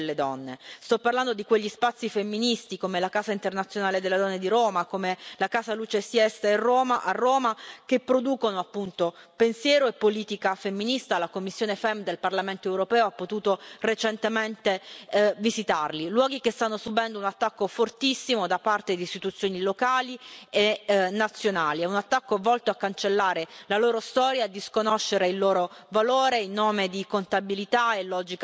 Sto parlando di quegli spazi femministi, come la Casa internazionale delle donne di Roma, come la Casa Lucha y Siesta a Roma, che producono pensiero e politica femminista. La commissione FEMM del Parlamento europeo ha potuto recentemente visitarli, luoghi che stanno subendo un attacco fortissimo da parte di istituzioni locali e nazionali, è un attacco volto a cancellare la loro storia e a disconoscere il loro valore in nome di contabilità e logica del debito.